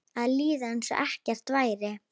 Að líða einsog ekkert væri.